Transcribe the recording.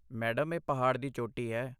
Madam, ਇਹ ਪਹਾੜ ਦੀ ਚੋਟੀ ਹੈ।